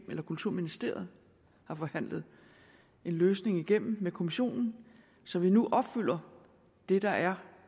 men kulturministeriet har forhandlet en løsning igennem med kommissionen så vi nu opfylder det der er